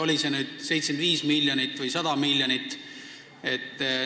Kas see oli 75 või 100 miljonit?